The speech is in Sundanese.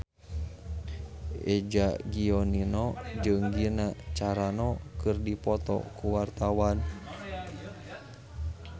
Eza Gionino jeung Gina Carano keur dipoto ku wartawan